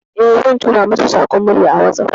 Eh, zan tura mata saƙon murya a WhatsApp.